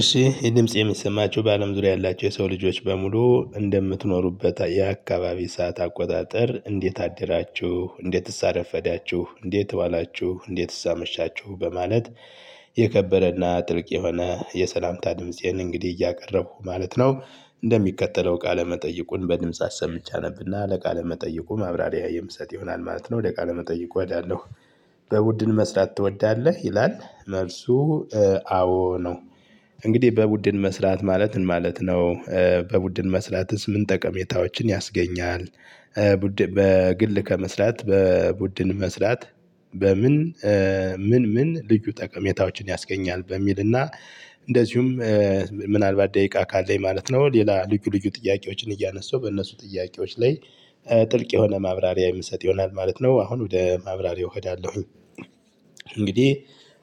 እሺ ይህ ድምጽ የሚሰማቸው በአለም ዙሪያ ያላቸው የሰው ልጆች በሙሉ እንደምትኖሩበት የአከባቢ ሰዓት አቆጣጠር እንዴት አደራችሁ እንዴትስ አረፈዳችሁ እንዴት ዋላችሁ እንዴት አመሻችሁ በማለት የከበረና ጥልቅ የሆነ የሰላምታ ድምፄን እንግዲህ እያቀረቡ ማለት ነው እንደሚከተለው ቃለ መጠይቁን በድምጽ አሰምቸ አነብና ለቃለ መጠይቁ ማብራሪያ የምሰጥ ይሆናል ማለት ነው ለቃለ መጠይቁ ወዳለው በቡድን መስራት ትወዳለ? ይላል መልሱ አዎ ነው። እንግዲህ በቡድን መስራት ማለት ምን ማለት ነው? በቡድን መስራትስ ምን ጠቀሜታዎችን ያስገኛል? በግል ከመስራት በቡድን መስራት በምን ምን ምን ልዩ ጠቀሜታዎችን ያስገኛል? በሚል እና እንደዚሁም ምናልባት ደቂቃ ካለኝ ማለት ነው ሌላ ልዩ ልዩ ጥያቄዎችን እያነሳው በእነሱ ጥያቄዎች ላይ ጥልቅ የሆነ ማብራሪያ የምሰጥ ይሆናል ማለት ነው። አሁን ወደ ማብራሪያው እሄዳለሁ። እንግዲህ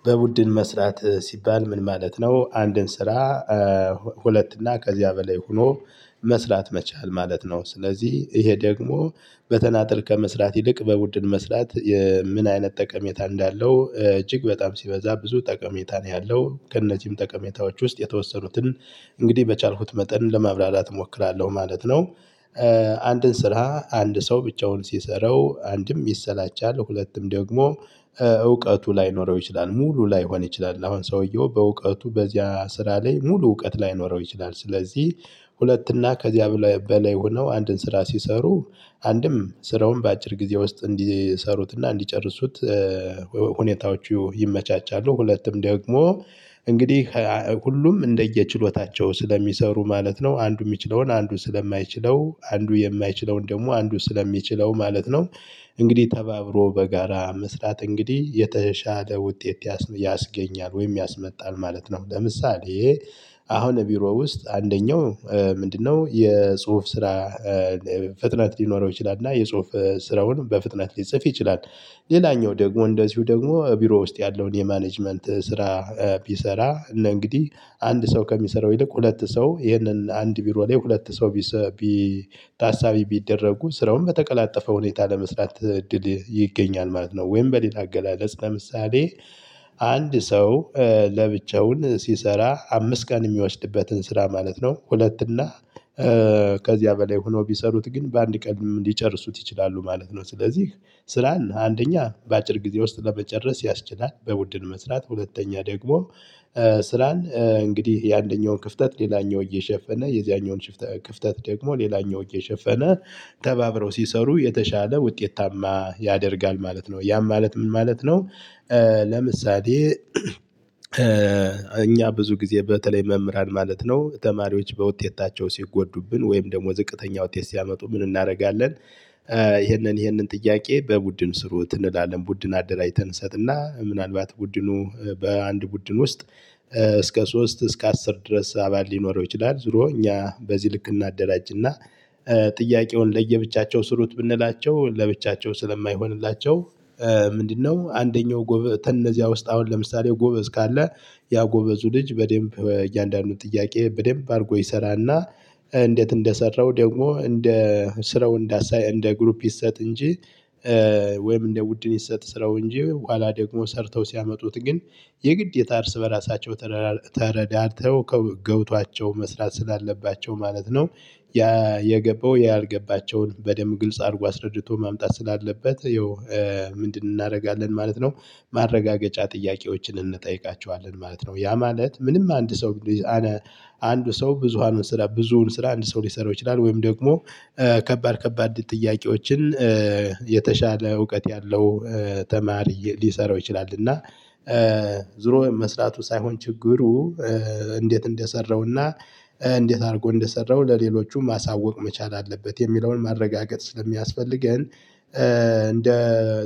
በቡድን መስራት ሲባል ምን ማለት ነው? አንድን ስራ ሁለት እና ከዚያ በላይ ሆኖ መስራት መቻል ማለት ነው። ስለዚህ ይሄ ደግሞ በተናጠል ከመስራት ይልቅ በቡድን መስራት ምን አይነት ጠቀሜታ እንዳለው እጅግ በጣም ሲበዛ ብዙ ጠቀሜታ ነው ያለው ከእነዚህም ጠቀሜታዎች ውስጥ የተወሰኑትን እንግዲህ በቻልኩት መጠን ለማብራራት እሞክራለሁ ማለት ነው። አንድን ስራ አንድ ሰው ብቻውን ሲሰራው አንድም ይሰላቻል ሁለቱም ደግሞ እውቀቱ ላይኖረው ይችላል ሙሉ ላይሆን ይችላል አሁን ሰውየው በእውቀቱ በዚያ ስራ ላይ ሙሉ እውቀት ላይኖረው ይችላል። ስለዚህ ሁለት እና ከዚያ በላይ ሆነው አንድን ስራ ሲሰሩ አንድም ስራውን በአጭር ጊዜ ውስጥ እንዲሰሩትና እንዲጨርሱት ሁኔታዎቹ ይመቻቻሉ። ሁለትም ደግሞ እንግዲህ ሁሉም እንደየችሎታቸው ስለሚሰሩ ማለት ነው አንዱ የሚችለውን አንዱ ስለማይችለው አንዱ የማይችለውን ደግሞ አንዱ ስለሚችለው ማለት ነው። እንግዲህ ተባብሮ በጋራ መስራት እንግዲህ የተሻለ ውጤት ያስገኛል ወይም ያስመጣል ማለት ነው። ለምሳሌ አሁን ቢሮ ውስጥ አንደኛው ምንድን ነው የጽሁፍ ስራ ፍጥነት ሊኖረው ይችላል እና የጽሁፍ ስራውን በፍጥነት ሊጽፍ ይችላል። ሌላኛው ደግሞ እንደዚሁ ደግሞ ቢሮ ውስጥ ያለውን የማኔጅመንት ስራ ቢሰራ እንግዲህ አንድ ሰው ከሚሰራው ይልቅ ሁለት ሰው ይሄንን አንድ ቢሮ ላይ ሁለት ሰው ታሳቢ ቢደረጉ ስራውን በተቀላጠፈ ሁኔታ ለመስራት እድል ይገኛል ማለት ነው። ወይም በሌላ አገላለጽ ለምሳሌ አንድ ሰው ለብቻው ሲሰራ አምስት ቀን የሚያወስድበትን ስራ ማለት ነው ሁለት እና ከዚያ በላይ ሆነው ቢሰሩት ግን በአንድ ቀን ሊጨርሱት ይችላሉ ማለት ነው። ስለዚህ ስራን አንደኛ በአጭር ጊዜ ውስጥ ለመጨረስ ያስችላል። በቡድን መስራት ሁለተኛ ደግሞ ስራን እንግዲህ የአንደኛውን ክፍተት ሌላኛው እየሸፈነ የዚያኛውን ክፍተት ደግሞ ሌላኛው ወገን እየሸፈነ ተባብረው ሲሰሩ የተሻለ ውጤታማ ያደርጋል ማለት ነው። ያም ማለት ምን ማለት ነው? ለምሳሌ እኛ ብዙ ጊዜ በተለይ መምህራን ማለት ነው ተማሪዎች በውጤታቸው ሲጎዱብን ወይም ደግሞ ዝቅተኛ ውጤት ሲያመጡ ምን እናደርጋለን? ይሄንን ይሄንን ጥያቄ በቡድን ስሩት እንላለን ቡድን አደራጅተን እንሰጥና ምናልባት ቡድኑ በአንድ ቡድን ውስጥ እስከ ሶስት እስከ አስር ድረስ አባል ሊኖረው ይችላል። ዙሮ እኛ በዚህ ልክ እናደራጅና ጥያቄውን ለየብቻቸው ስሩት ብንላቸው ለብቻቸው ስለማይሆንላቸው። ምንድን ነው? አንደኛው ከእነዚያ ዉስጥ አሁን ለምሳሌ ጎበዝ ከአለ ያ ጎበዙ ልጅ በደንብ እያንዳንዱን ጥያቄ በደንብ አድርጎ ይሰራልና እንዴት እንደሰራው ደግሞ እንደ ስራው እንደ ግሩፕ ይሰጥ እንጂ ወይም እንደ ቡድን ይሰጥ ስራው እንጂ በኋላ ደግሞ ሰርተው ሲያመጡት ግን የግዴታ እርስ በራሳቸው ተረዳድተው ገብቷቸው መስራት ስላለባቸው ማለት ነው። ያ የገባው ያልገባቸውን በደንብ ግልጽ አድርጎ አስረድቶ ማምጣት ስላለበት ይኸው ምንድን እናደርጋለን ማለት ነው። ማረጋገጫ ጥያቄዎችን እንጠይቃቸዋለን ማለት ነው። ያ ማለት ምንም አንድ ሰው አንድ ሰው ብዙሃኑን ስራ ብዙዉን ስራ አንድ ሰው ሊሰራው ይችላል። ወይም ደግሞ ከባድ ከባድ ጥያቄዎችን የተሻለ እውቀት ያለው ተማሪ ሊሰራው ይችላል። እና ዙሮ መስራቱ ሳይሆን ችግሩ እንዴት እንደሰራውና እንዴት አድርጎ እንደሰራው ለሌሎቹም ማሳወቅ መቻል አለበት። የሚለውን ማረጋገጥ ስለሚያስፈልገን እንደ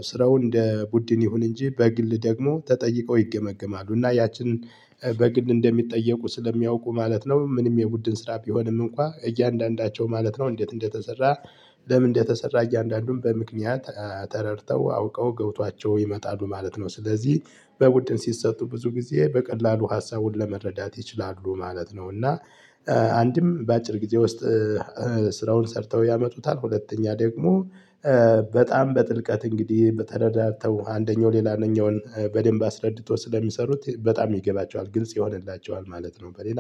ስራው እንደ ቡድን ይሁን እንጂ በግል ደግሞ ተጠይቀው ይገመግማሉ እና ያችንን በግል እንደሚጠየቁ ስለሚያውቁ ማለት ነው። ምንም የቡድን ስራ ቢሆንም እንኳን እያንዳንዳቸው ማለት ነው እንዴት እንደተሰራ ለምን እንደተሰራ እያንዳንዱን በምክንያት ተረድተው አውቀው ገብቷቸው ይመጣሉ ማለት ነው። ስለዚህ በቡድን ሲሰጡ ብዙ ጊዜ በቀላሉ ሀሳቡን ለመረዳት ይችላሉ ማለት ነው። እና አንድም በአጭር ጊዜ ውስጥ ስራውን ሰርተው ያመጡታል። ሁለተኛ ደግሞ በጣም በጥልቀት እንግዲህ ተረራርድተው አንደኛው ሌላ አንደኛውን በደንብ አስረድቶ ስለሚሰሩት በጣም ይገባቸዋል ግልጽ ይሆንላቸዋል ማለት ነው። በሌላ